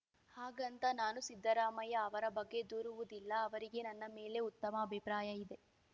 ಹಾಗಂತ ನಾನು ಸಿದ್ದರಾಮಯ್ಯ ಅವರ ಬಗ್ಗೆ ದೂರುವುದಿಲ್ಲ ಅವರಿಗೆ ನನ್ನ ಮೇಲೆ ಉತ್ತಮ ಅಭಿಪ್ರಾಯ ಇದೆ